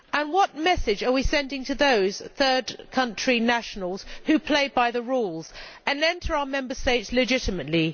What message are we sending to those third country nationals who play by the rules and enter our Member States legitimately?